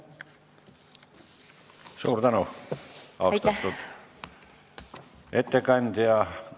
Suur tänu, austatud ettekandja!